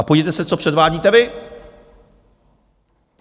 A podívejte se, co předvádíte vy!